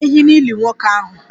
E gburu ehi n'ili nwoke ahụ?